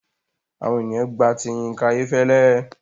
Àwọn ènìyàn gba ti Yinka Ayefele.